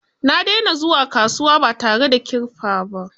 Na dena zuwa kasuwa ba tare da kirfa ba